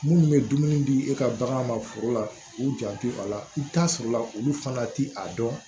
Minnu bɛ dumuni di e ka bagan ma foro la k'u janto a la i bi taa sɔrɔ olu fana ti a dɔn